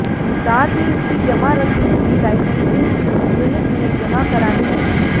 साथ ही इसकी जमा रसीद भी लाइसेंसिंग यूनिट में जमा करानी होगी